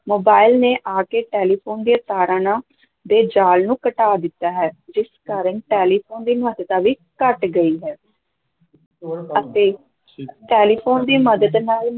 mobile ਨੇ ਆ ਕੇ ਟੈਲੀਫ਼ੋਨ ਦੀਆਂ ਤਾਰਾਂ ਨਾ ਦੇ ਜ਼ਾਲ ਨੂੰ ਘਟਾ ਦਿੱਤਾ ਹੈ, ਜਿਸ ਕਾਰਨ ਟੈਲੀਫ਼ੋਨ ਦੀ ਮਹੱਤਤਾ ਵੀ ਘੱਟ ਗਈ ਹੈ ਅਤੇ ਟੈਲੀਫ਼ੋਨ ਦੀ ਮਦਦ ਨਾਲ